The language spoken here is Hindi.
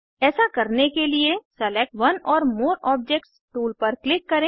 ऐसा करने के लिए select one or more objects tool पर क्लिक करें